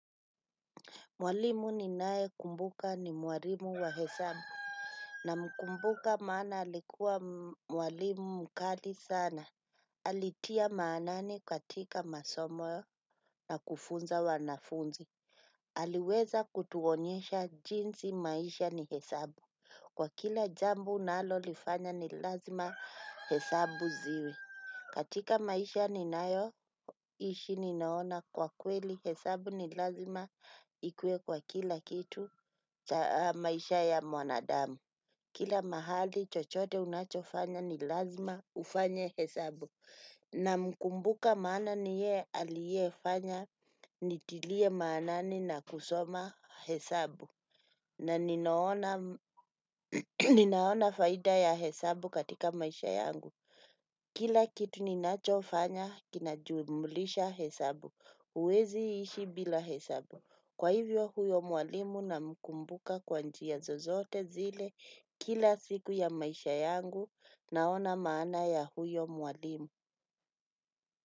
Mwalimu ninaye kumbuka ni mwalimu wa hesabu. Namkumbuka maana alikuwa mwalimu mkali sana. Alitia maanani katika masomo na kufunza wanafunzi. Aliweza kutuonyesha jinsi maisha ni hesabu. Kwa kila jambo unalolifanya ni lazima hesabu ziwe. Katika maisha ninayoishi ninaona kwa kweli hesabu ni lazima ikuwe kwa kila kitu. Maisha ya mwanadamu kila mahali chochote unachofanya ni lazima ufanye hesabu. Namkumbuka maana ni yeye aliye fanya nitilie maanani na kusoma hesabu. Na ninaona faida ya hesabu katika maisha yangu. Kila kitu ninachofanya kinajumulisha hesabu huwezi ishi bila hesabu. Kwa hivyo huyo mwalimu namkumbuka kwa njia zozote zile kila siku ya maisha yangu naona maana ya huyo mwalimu.